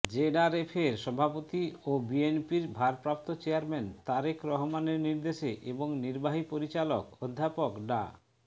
জেডআরএফের সভাপতি ও বিএনপির ভারপ্রাপ্ত চেয়ারম্যান তারেক রহমানের নির্দেশে এবং নির্বাহী পরিচালক অধ্যাপক ডা